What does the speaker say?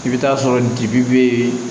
I bɛ taa sɔrɔ dibi be